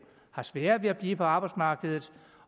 sværere ved at blive på arbejdsmarkedet